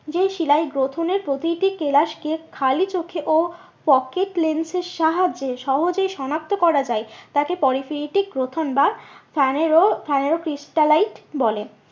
যেই শিলায় গ্রথনের প্রতিটি কেলাসকে খালি চোখে ও pocket lens এর সাহায্যে সহজেই সনাক্ত করা যায়। তাকে পলিক্রিয়েটিক গঠন বা বলে